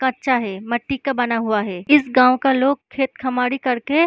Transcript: अच्छा है मट्टी का बना हुआ है इस गांव के लोग खेत खमाड़ी करते --